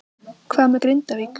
Hvað með Grindavík?